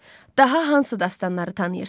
Daha hansı dastanları tanıyırsız?